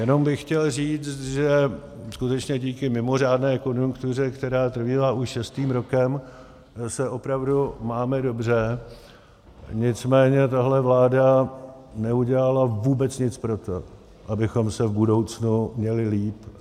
Jenom bych chtěl říct, že skutečně díky mimořádné konjunktuře, která trvá už šestým rokem, se opravdu máme dobře, nicméně tahle vláda neudělala vůbec nic pro to, abychom se v budoucnu měli líp.